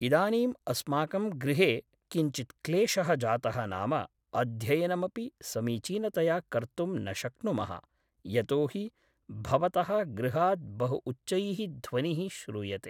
इदानीम् अस्माकं गृहे किञ्चित् क्लेशः जातः नाम अध्ययनमपि समीचीनतया कर्तुं न शक्नुमः यतोहि भवतः गृहात् बहु उच्चैः ध्वनिः श्रूयते